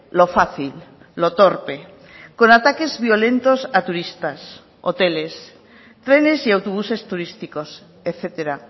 lo fácil lo torpe con ataques violentos a turistas hoteles trenes y autobuses turísticos etcétera